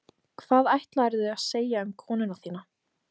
Hvað ætlaðirðu að segja um konuna þína?